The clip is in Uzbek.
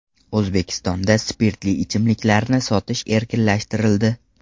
O‘zbekistonda spirtli ichimliklarni sotish erkinlashtirildi.